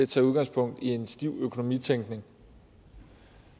tager udgangspunkt i en stiv økonomitænkning